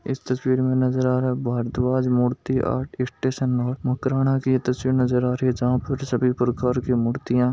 इस तस्वीर में नजर आ रहा है Bharadwaj Murti art station road Makrana की तस्वीर नजर आ रही है जहाँ पर सभी प्रकार की मुर्तिया --